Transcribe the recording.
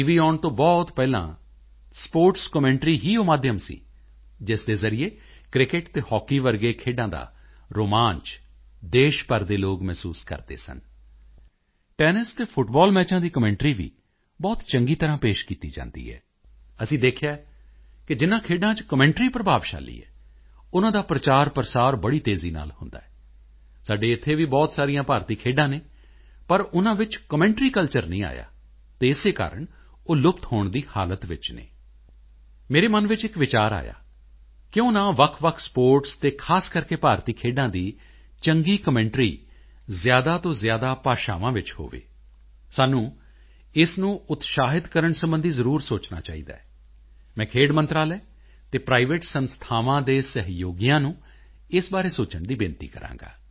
ਆਉਣ ਤੋਂ ਬਹੁਤ ਪਹਿਲਾਂ ਸਪੋਰਟਸ ਕਮੈਂਟਰੀ ਹੀ ਉਹ ਮਾਧਿਅਮ ਸੀ ਜਿਸ ਦੇ ਜ਼ਰੀਏ ਕ੍ਰਿਕਟ ਤੇ ਹੌਕੀ ਵਰਗੇ ਖੇਡਾਂ ਦਾ ਰੋਮਾਂਚ ਦੇਸ਼ ਭਰ ਦੇ ਲੋਕ ਮਹਿਸੂਸ ਕਰਦੇ ਸਨ ਟੈਨਿਸ ਤੇ ਫੁੱਟਬਾਲ ਮੈਚਾਂ ਦੀ ਕਮੈਂਟਰੀ ਵੀ ਬਹੁਤ ਚੰਗੀ ਤਰ੍ਹਾਂ ਪੇਸ਼ ਕੀਤੀ ਜਾਂਦੀ ਹੈ ਅਸੀਂ ਦੇਖਿਆ ਹੈ ਕਿ ਜਿਨ੍ਹਾਂ ਖੇਡਾਂ ਚ ਕਮੈਂਟਰੀ ਪ੍ਰਭਾਵਸ਼ਾਲੀ ਹੈ ਉਨ੍ਹਾਂ ਦਾ ਪ੍ਰਚਾਰਪ੍ਰਸਾਰ ਬੜੀ ਤੇਜ਼ੀ ਨਾਲ ਹੁੰਦਾ ਹੈ ਸਾਡੇ ਇੱਥੇ ਵੀ ਬਹੁਤ ਸਾਰੀਆਂ ਭਾਰਤੀ ਖੇਡਾਂ ਹਨ ਪਰ ਉਨ੍ਹਾਂ ਵਿੱਚ ਕਮੈਂਟਰੀ ਕਲਚਰ ਨਹੀਂ ਆਇਆ ਹੈ ਤੇ ਇਸੇ ਕਾਰਣ ਉਹ ਲੁਪਤ ਹੋਣ ਦੀ ਹਾਲਤ ਵਿੱਚ ਹਨ ਮੇਰੇ ਮਨ ਵਿੱਚ ਇੱਕ ਵਿਚਾਰ ਆਇਆ ਕਿਉਂ ਨਾ ਵੱਖਵੱਖ ਸਪੋਰਟਸ ਤੇ ਖ਼ਾਸ ਕਰਕੇ ਭਾਰਤੀ ਖੇਡਾਂ ਦੀ ਚੰਗੀ ਕਮੈਂਟਰੀ ਜ਼ਿਆਦਾ ਤੋਂ ਜ਼ਿਆਦਾ ਭਾਸ਼ਾਵਾਂ ਵਿੱਚ ਹੋਵੇ ਸਾਨੂੰ ਇਸ ਨੂੰ ਉਤਸ਼ਾਹਿਤ ਕਰਨ ਸਬੰਧੀ ਜ਼ਰੂਰ ਸੋਚਣਾ ਚਾਹੀਦਾ ਹੈ ਮੈਂ ਖੇਡ ਮੰਤਰਾਲੇ ਅਤੇ ਪ੍ਰਾਈਵੇਟ ਸੰਸਥਾਵਾਂ ਦੇ ਸਹਿਯੋਗੀਆਂ ਨੂੰ ਇਸ ਬਾਰੇ ਸੋਚਣ ਦੀ ਬੇਨਤੀ ਕਰਾਂਗਾ